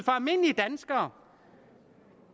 almindelige danskere